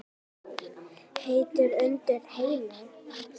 Heitt undir Heimi?